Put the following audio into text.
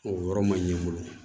O yɔrɔ ma ɲɛ n bolo